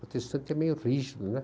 Protestante é meio rígido, né?